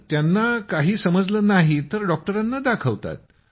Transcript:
त्यांना काही समजलं नाही तर डॉक्टरांना दाखवतात